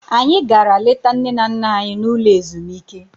Anyị gara leta nne na nna anyị n'ụlọ ezumike.